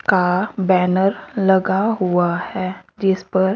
का बॅनर लगा हुआ है जिस पर--